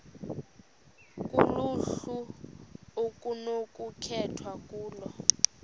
kuluhlu okunokukhethwa kulo